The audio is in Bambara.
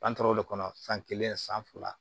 An taara o de kɔnɔ san kelen san fila